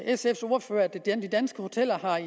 sfs ordfører at de danske hoteller